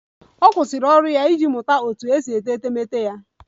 Ọ kwụsịrị ọrụ ya iji mụta otú e si ete etemeete ya